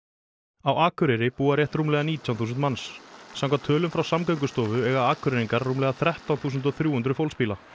á Akureyri búa rétt rúmlega nítján þúsund manns samkvæmt tölum frá Samgöngustofu eiga Akureyringar rúmlega þrettán þúsund þrjú hundruð fólksbíla